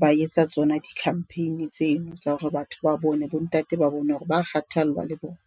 ba etsa tsona di-campaign tseno tsa hore batho ba bone bo ntate, ba bone hore ba kgathallwa le bona.